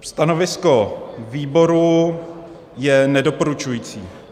Stanovisko výboru je nedoporučující.